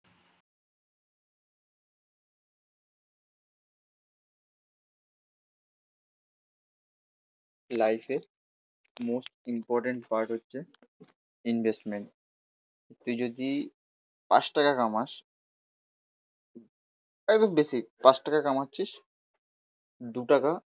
লাইফের most important কাজ হচ্ছে ইনভেস্টমেন্ট। তুই যদি পাঁচটাকা কামাস একদম বেসিক পাঁচটাকা কামাচ্ছিস দুটাকা